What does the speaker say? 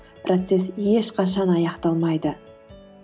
процесс ешқашан аяқталмайды